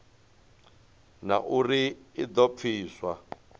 na uri i do pfiswa